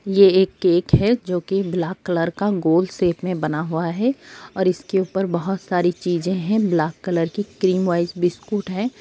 ये एक केक है जो कि ब्लैक कलर का गोल शेप में बना हुआ है और इसके ऊपर बहुत सारी चीजे है ब्लैक कलर की क्रीम वाइज़ बिस्कुट है।